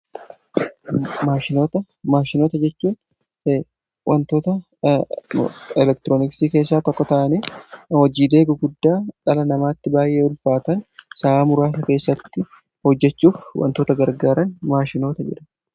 maashinota jechuun wantoota elektirooniksii keessaa tokko ta'anii hojiilee guguddaa dhala namaatti baay'ee ulfaatan sa'aa muraasa keessatti hojjechuuf wantoota gargaaran maashinoota jidhamu.